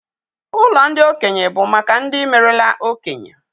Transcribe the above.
Ụlọ ndị okenye bụ maka ndị merela okenye.